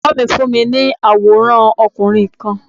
Bàbá mi fún mi ní àwọ̀rán okùnrin kan